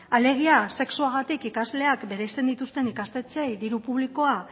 alegia sexuagatik ikasleak bereizten dituzten ikastetxeei diru publikoa